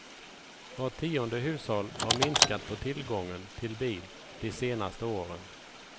Vart tionde hushåll har minskat på tillgången till bil de senaste åren.